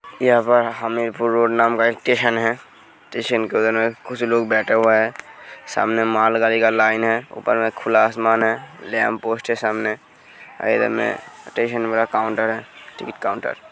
यहाँ पर एक पुरुनामे का स्टेशन है। स्टेशन के अन्दर कुछ लोग बेठे हुए हैं। सामने मॉल गाड़ी का लाइन है। ऊपर खुला असमान है। लैंप पोस्ट है। सामने इधर में स्टेशन पर काउंटर है। टिकट काउंटर है।